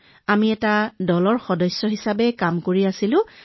আমি দলৰ সদস্যৰ দৰে কাম কৰিছিলো মহোদয়